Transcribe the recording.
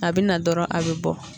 A bɛ na dɔrɔn a bɛ bɔ.